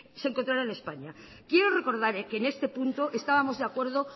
se encontraron en españa quiero recordar que en este punto estábamos de acuerdo